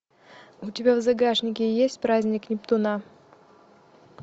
у тебя в загашнике есть праздник нептуна